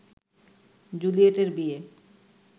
জুলিয়েটের বিয়ে